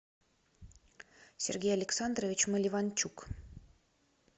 сергей александрович маливанчук